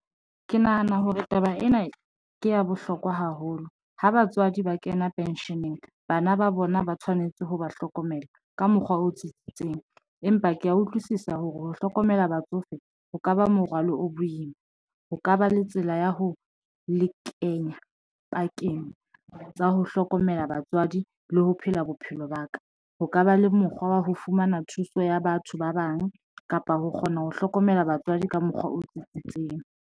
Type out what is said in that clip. Ke nahana hore taba ena ke ya bohlokwa haholo ha batswadi ba kena pension-eng bana ba bona ba tshwanetse ho ba hlokomela ka mokgwa o tsitsitseng, empa ke ya utlwisisa hore ho hlokomela batsofe ho ka ba morwalo o boima. Ho ka ba le tsela ya ho le kenya pakeng tsa ho hlokomela batswadi le ho phela bophelo ba ka. Ho ka ba le mokgwa wa ho fumana thuso ya batho ba bang kapa ho kgona ho hlokomela batswadi ka mokgwa o tsitsitseng.